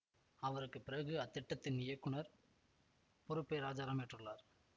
அவருக்கு பிறகு அத்திட்டத்தின் இயக்குநர் பொறுப்பை ராஜாராம் ஏற்றுள்ளார்